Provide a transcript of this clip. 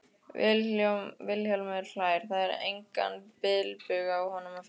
Vilhjálmur hlær, það er engan bilbug á honum að finna.